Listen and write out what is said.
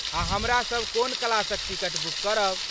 आ हमरा सब कोन क्लासक टिकट बुक करब?